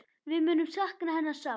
Við munum sakna hennar sárt.